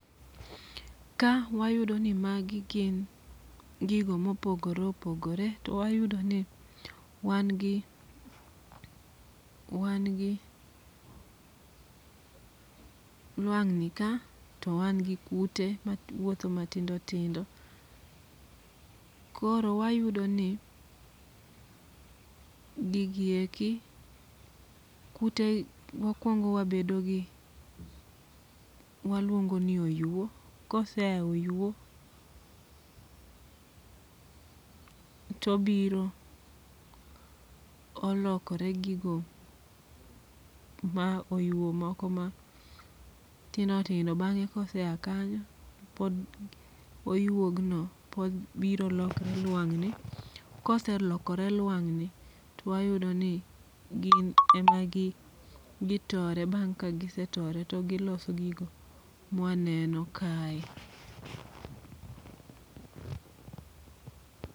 Ka wayudo ni magi gin gigo ma opogore opogore, to wayudo ni wan gi wan gi lwang' ni ka to wan gi kute mawuotho matindo tindo koro wayudo ni gigi eki kute mokuongo wabedo gi waluongo ni oyuo kosea e oyuo, to obiro olokore gigo ma oyuo moko ma tindo tindo bang'e kosea kanyo pod oyuogno biro lokore luang' ni koselokore luang'ni to wayudo ni gin ema gitore bang' ka gisetore to giloso gigo ma waneno kae.